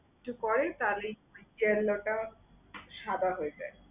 একটু পরেই cowlick জেল্লাটা সাদা হয়ে যায়।